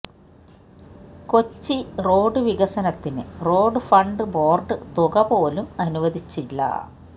Kochi road വികസനത്തിന് road fund board തുകപോലും അനുവദിച്ചില്ല